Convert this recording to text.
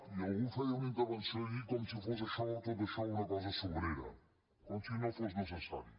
i algú feia una intervenció ahir com si fos això tot això una cosa sobrera com si no fos necessari